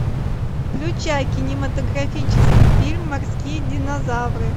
включай кинематографический фильм морские динозавры